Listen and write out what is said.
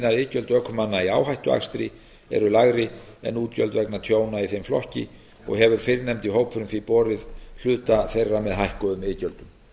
iðgjöld ökumanna í áhættuakstri eru lægri en útgjöld vegna tjóna í þeim flokki og hefur fyrrnefndi hópurinn því borið hluta þeirra með hækkuðum iðgjöldum